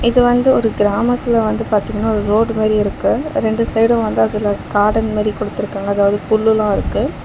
இது வந்து ஒரு கிராமத்துல வந்து பாத்தீங்கன்னா ஒரு ரோடு மாரி இருக்கு ரெண்டு சைடு வந்து அதுல கார்டன் மாரி குடுத்திருக்காங்க அதாவது புல்லு எல்லா இருக்கு.